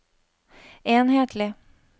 enhetlig